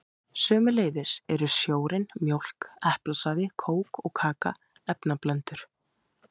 Sömuleiðis eru sjórinn, mjólk, eplasafi, kók og kaka efnablöndur.